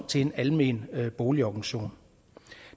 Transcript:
til en almen boligorganisation